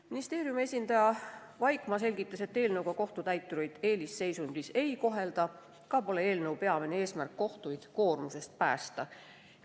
Ministeeriumi esindaja Vaikmaa selgitas, et kohtutäitureid ei kohelda selle eelnõuga eelisseisundis olevatena, samuti pole eelnõu peamine eesmärk kohtuid koormusest päästa.